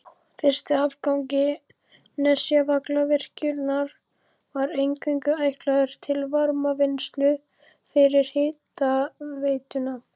Fyrsti áfangi Nesjavallavirkjunar var eingöngu ætlaður til varmavinnslu fyrir hitaveituna.